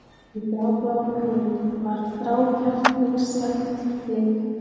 Í grábláum augunum var þrákelknislegt blik.